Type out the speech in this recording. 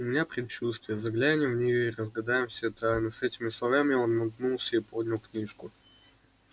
у меня предчувствие заглянем в нее и разгадаем все тайны с этими словами он нагнулся и поднял книжку